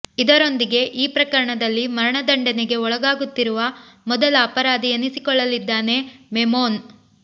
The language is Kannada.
ಇದರೊಂದಿಗೆ ಈ ಪ್ರಕರಣದಲ್ಲಿ ಮರಣದಂಡನೆಗೆ ಒಳಗಾಗುತ್ತಿರುವ ಮೊದಲ ಅಪರಾಧಿ ಎನಿಸಿಕೊಳ್ಳಲಿದ್ದಾನೆ ಮೆಮೋನ್